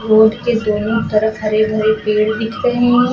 Road के दोनों तरफ हरे भरे पेड़ दिख रहे हैं।